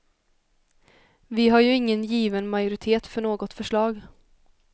Vi har ju ingen given majoritet för något förslag.